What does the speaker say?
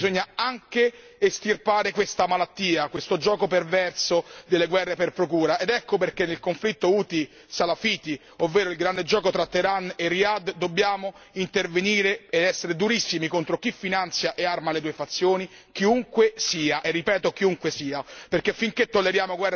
Non basta aiutare i profughi, bisogna anche estirpare questa malattia, questo gioco perverso delle guerre per procura. Ecco perché nel conflitto houthi salafiti, ovvero il grande gioco tra Teheran e Riad, dobbiamo intervenire ed essere durissimi contro chi finanzia e arma le due fazioni, chiunque sia, e ripeto chiunque sia.